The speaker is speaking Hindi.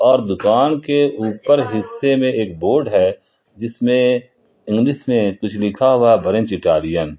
और दुकान के ऊपर हिस्से में एक बोर्ड है जिसमें इंग्लिश में कुछ लिखा हुआ है ब्रंच इटालियन ।